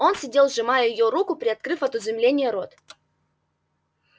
он сидел сжимая её руку приоткрыв от изумления рот